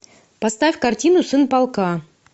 поставь картину сын полка